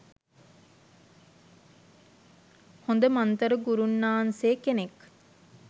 හොද මන්තර ගුරුන්නාන්සේ කෙනෙක්.